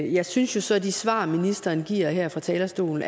jeg synes jo så at de svar ministeren giver her fra talerstolen